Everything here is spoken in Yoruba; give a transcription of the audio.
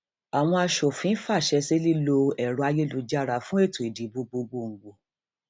àwọn aṣòfin fàṣẹ sí lílo ẹrọ ayélujára fún ètò ìdìbò gbọgbògbò